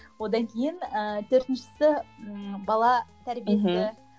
одан кейін ііі төртіншісі ммм бала тәрбиесі мхм